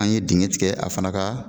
An ye dingɛ tigɛ a fana ka